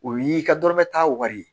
O y'i ka dɔrɔmɛ tan wari ye